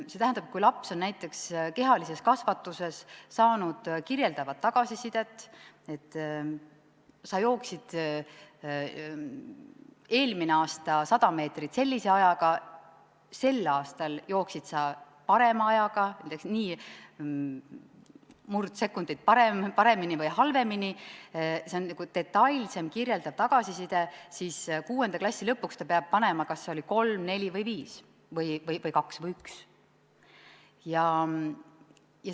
See tähendab, et kui laps on näiteks kehalises kasvatuses saanud kirjeldavat tagasisidet, et ta jooksis eelmine aasta 100 meetrit sellise ajaga, sel aastal jooksis ta parema ajaga, näiteks mõne sekundi paremini või halvemini, see on detailsem kirjeldav tagasiside, siis 6. klassi lõpuks peab panema kirja, kas see oli kolm, neli või viis või siis kaks või üks.